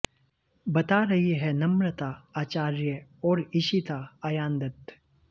बता रही हैं नम्रता आचार्र्य और ईशिता आयान दत्त